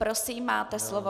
Prosím, máte slovo.